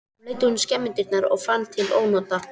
Hún leit út um skemmudyrnar og fann til ónota.